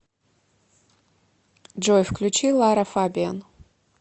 джой включи лара фабиан